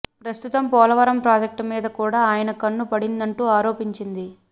ప్రస్తుతం పోలవరం ప్రాజెక్ట్ మీద కూడా ఆయన కన్ను పడిందంటూ ఆరోపించింది